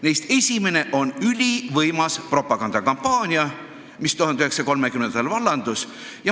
Neist esimene on ülivõimas propagandakampaania, mis 1930-ndatel vallandus.